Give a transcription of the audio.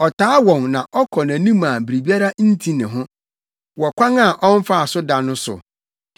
Ɔtaa wɔn na ɔkɔ nʼanim a biribiara nti ne ho, wɔ kwan a ɔmfaa so da no so.